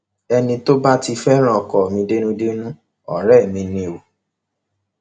ẹni tó bá ti fẹràn ọkọ mi dénúdénú ọrẹ mi ni o